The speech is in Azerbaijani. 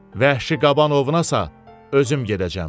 Vəhşi qaban ovuna isə özüm gedəcəm.